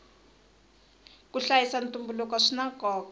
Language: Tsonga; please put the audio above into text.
ku hlayisa ntumbuluko swina nkoka